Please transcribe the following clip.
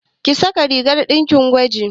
Ki saka rigar ɗakin gwaji!